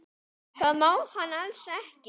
Það má hann alls ekki.